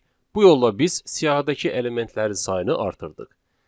Bu yolla biz siyahıdakı elementlərin sayını artırdıq.